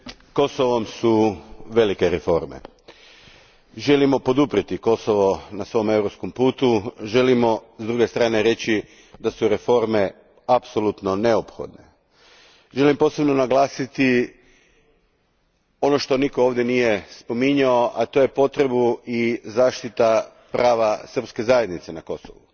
Gospođo predsjednice, pred Kosovom su velike reforme. Želimo poduprijeti Kosovo na njegovom europskom putu, želimo s druge strane reći da su reforme apsolutno neophodne. Želim posebno naglasiti ono što nitko ovdje nije spominjao, a to je potreba zaštite prava srpske zajednice na Kosovu.